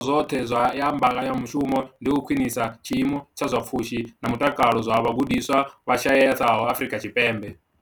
zwoṱhe ya mbekanya mushumo ndi u khwinisa tshiimo tsha zwa pfushi na mutakalo zwa vhagudiswa vha shayesaho Afrika Tshipembe.